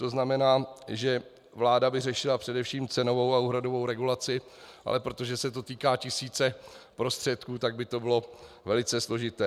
To znamená, že vláda by řešila především cenovou a úhradovou regulaci, ale protože se to týká tisíce prostředků, tak by to bylo velice složité.